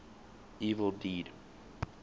evil dead